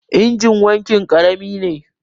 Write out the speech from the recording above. injin wankin karami ne